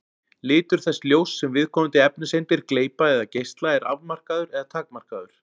Litur þess ljóss sem viðkomandi efniseindir gleypa eða geisla er afmarkaður eða takmarkaður.